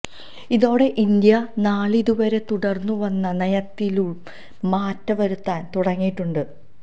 ഇതോടെ ഇന്ത്യ നാളിതുവരെ തുടര്ന്ന് വന്ന നയത്തിലും മാറ്റം വരുത്താന് തുടങ്ങിയിട്ടുണ്ട്